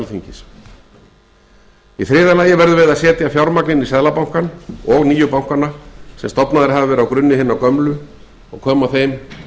inn í seðlabankann og nýju bankanna sem stofnaðir hafa verið á grunni hinna gömlu og koma þeim